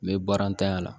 N bɛ baaratanya la